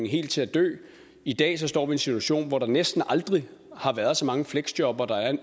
helt at dø i dag står vi situation hvor der næsten aldrig har været så mange fleksjobbere